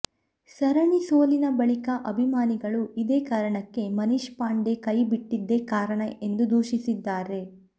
ಸರಣಿ ಸೋಲಿನ ಬಳಿಕ ಅಭಿಮಾನಿಗಳು ಇದೇ ಕಾರಣಕ್ಕೆ ಮನೀಶ್ ಪಾಂಡೆ ಕೈ ಬಿಟ್ಟಿದ್ದೇ ಕಾರಣ ಎಂದು ದೂಷಿಸಿದ್ದಾರೆ